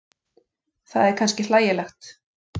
Það er kannski hlægilegt.